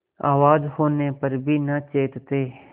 आवाज होने पर भी न चेतते